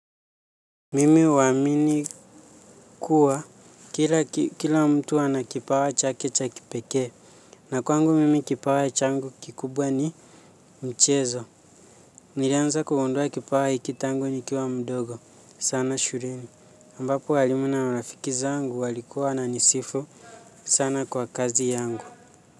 Mimi huamini kuwa kila mtu ana kipawa chake cha kipekee na kwangu mimi kipawa changu kikubwa ni mchezo. Nilianza kugundua kipawa hiki tangu nikiwa mdogo sana shuleni. Ambapo walimu na marafiki zangu walikuwa wananisifu sana kwa kazi yangu.